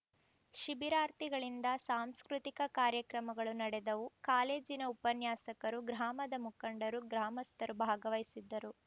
ಶಿಬಿರಾರ್ಥಿಗಳಿಂದ ಸಾಂಸ್ಕೃತಿಕ ಕಾರ್ಯಕ್ರಮಗಳು ನಡೆದವು ಕಾಲೇಜಿನ ಉಪನ್ಯಾಸಕರು ಗ್ರಾಮದ ಮುಖಂಡರು ಗ್ರಾಮಸ್ಥರು ಭಾಗವಹಿಸಿದ್ದರು